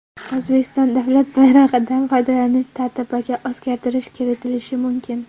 O‘zbekiston davlat bayrog‘idan foydalanish tartibiga o‘zgartirish kiritilishi mumkin.